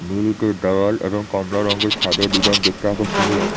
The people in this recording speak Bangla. নীল ইটের দেওয়াল এবং কমলা রঙের ছাদের ডিজাইন দেখতে আকর্ষণীয়।